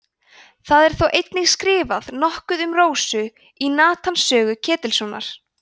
það er þó einnig skrifað nokkuð um rósu í natans sögu ketilssonar